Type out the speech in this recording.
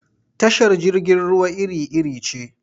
Tashar jirgin ruwa iri-iri ce.